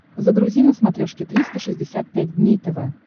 загрузи на смотрешке триста шестьдесят пять дней тв